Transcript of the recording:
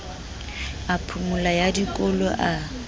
a phomolo ya dikolo a